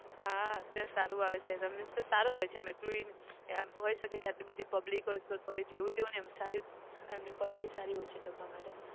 હા ત્યાં સારું આવે છે કે means કે સારું હોય છે આમ એટલું એ એમ હોય શકે કે આટલી બધી public હોય છે તોય જેવું તેવું નહિ એમ સારી એમની quality સારી હોય છે જમવા માટે.